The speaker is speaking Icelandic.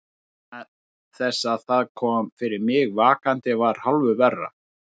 Vegna þess að það sem kom fyrir mig vakandi var hálfu verra.